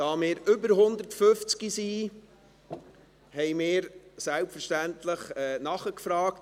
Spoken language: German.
Da wir mehr als 150 Personen sind, haben wir selbstverständlich nachgefragt.